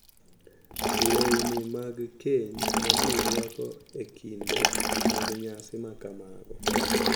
Lewni mag keny ma ji rwako e kinde mag nyasi ma kamago,